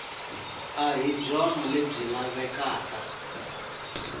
a hi byona lebyi lavekaka